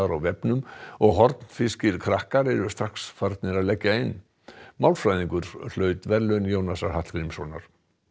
á vefnum og hornfirskir krakkar eru strax farnir að leggja inn málfræðingur hlaut verðlaun Jónasar Hallgrímssonar